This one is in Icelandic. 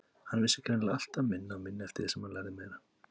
Hann vissi greinilega alltaf minna og minna eftir því sem hann lærði meira.